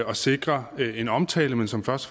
at sikre en omtale men som først